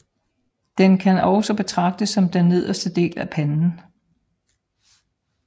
Den kan også betragtes som den nederste del af panden